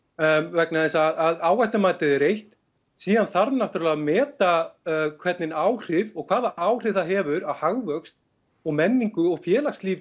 vegna þess að áhættumatið er eitt síðan þarf að meta hvernig áhrif og hvaða áhrif það hefur á hagvöxt og menningu og félagslíf